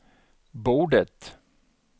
bordet